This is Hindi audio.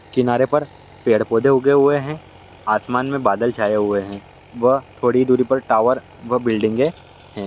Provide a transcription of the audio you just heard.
किनारे पर पेड़ पौधे उगे हुए हैं आसमान में बादल छाए हुए हैं व थोड़ी दूरी पर टावर व बिल्डिंगे हैं।